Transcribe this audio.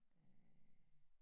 Øh